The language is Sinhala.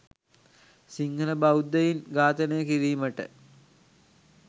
සිංහල බෞද්ධයින් ඝාතනය කිරීමට